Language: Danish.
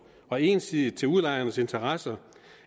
og ensidigt til udlejernes interesser